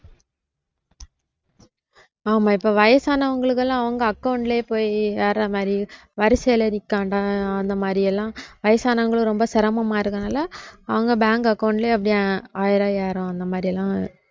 ஆமா இப்ப வயசானவங்களுக்கெல்லாம் அவங்க account லையே போய் ஏறது மாதிரி வரிசையில நிக்க வேண்டாம் அந்த மாதிரியெல்லாம் வயசானவங்களும் ரொம்ப சிரமமா இருக்கதுனால அவங்க bank account லேயே அப்படியே ஆயிரம் ஐயாயிரம் அந்த மாதிரி